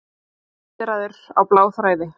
Kjaraviðræður á bláþræði